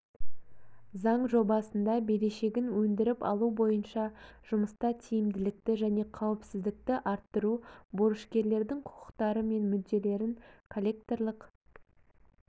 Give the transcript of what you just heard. заң жобасында берешегін өндіріп алу бойынша жұмыста тиімділікті және қауіпсіздікті арттыру борышкерлердің құқықтары мен мүдделерін коллекторлық